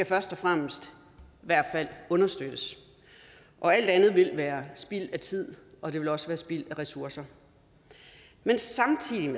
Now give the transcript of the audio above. først og fremmest skal understøttes alt andet vil være spild af tid og det vil også være spild af ressourcer men samtidig